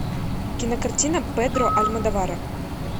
кинокартина педро альмодовара